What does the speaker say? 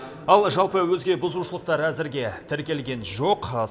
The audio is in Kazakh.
ал жалпы өзге бұзушылықтар әзірге тіркелген жоқ